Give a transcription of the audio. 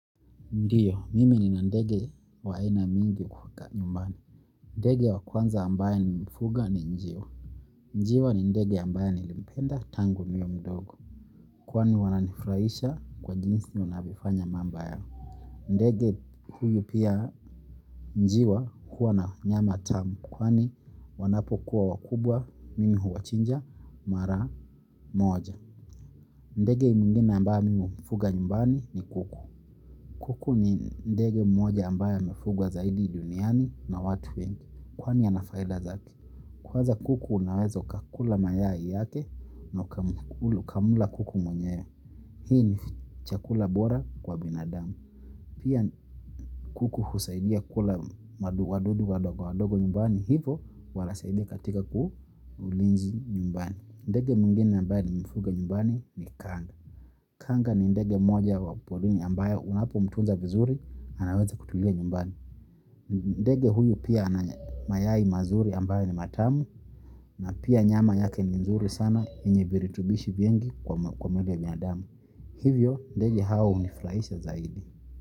Ndiyo, mimi nina ndege wa aina mingi nyumbani. Ndege wa kwanza ambaye nimefuga ni njiwa. Njiwa ni ndege ambaye nilimpenda tangu niwe mdogo. Kwani wananifurahisha kwa jinsi wanavyofanya mambo yao. Ndege huyu pia njiwa huwa na nyama tamu kwani wanapokuwa wakubwa mimi huwachinja mara moja. Ndege mwingine ambaye mimi hufuga nyumbani ni kuku. Kuku ni ndege mmoja ambaye amefugwa zaidi duniani na watu wengi. Kwani ana faida zake. Kwanza kuku unaweza ukakula mayai yake na ukamla kuku mwenyewe. Hii ni chakula bora kwa binadamu. Pia kuku husaidia kula wadudu wadogo wadogo nyumbani hivyo wanasaidia katika ulinzi nyumbani. Ndege mwingine ambaye nimefuga nyumbani ni kanga. Kanga ni ndege mmoja wa porini ambaye unapomtunza vizuri anaweza kutulia nyumbani. Ndege huyu pia ana mayai mazuri ambayo ni matamu na pia nyama yake ni nzuri sana yenye virutubishi vingi kwa mwili ya binadamu. Hivyo ndege hawa hunifurahisha zaidi.